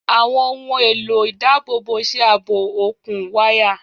Àwọn ohùn èlò ìdábòbò ṣe ààbò òkun wáyà.